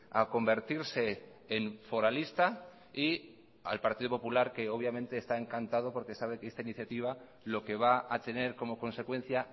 a convertirse en foralista y al partido popular que obviamente está encantado porque sabe que esta iniciativa lo que va a tener como consecuencia